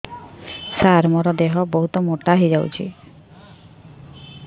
ସାର ମୋର ଦେହ ବହୁତ ମୋଟା ହୋଇଯାଉଛି